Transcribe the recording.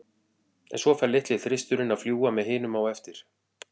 En fær svo litli þristurinn að fljúga með hinum á eftir?